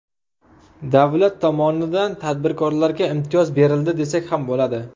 Davlat tomonidan tadbirkorlarga imtiyoz berildi desak ham bo‘ladi.